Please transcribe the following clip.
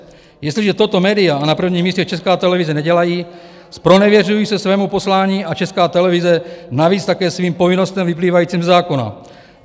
Jestliže toto média, a na prvním místě Česká televize, nedělají, zpronevěřují se svému poslání a Česká televize navíc také svým povinnostem vyplývajícím ze zákona.